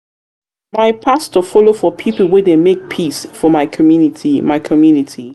pastor folo for pipo wey dey make peace for my community. my community.